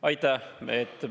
Aitäh!